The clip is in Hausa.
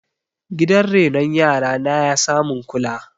gidan renon yara na ya samun kula